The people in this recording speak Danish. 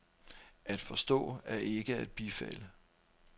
At forstå er ikke at bifalde.